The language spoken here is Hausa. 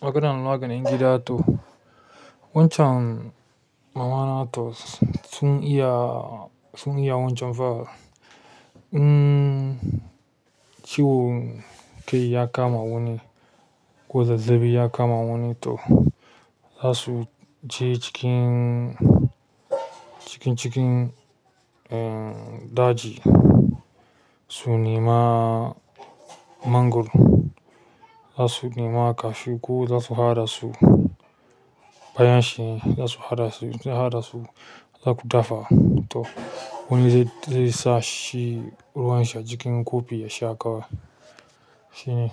maganan maganin gida to. Wancan mama na to sun iya, sun iya wancan fa. Mmmm. Ciwon kai ya kama wani ko zazzaɓi ya kama wani to za su je cikin, cikin, cikin, en daji su nema mangoro. Za su nema cashew ko za su haɗa su, bayan shi za su haɗa su, su haɗa su, za ku dafa to wani zai, zai sa shi ruwan shi a jikin kofi ya sha kawai. Shine.